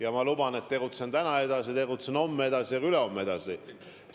Ja ma luban, et ma tegutsen täna edasi, tegutsen homme edasi ja ka ülehomme tegutsen edasi.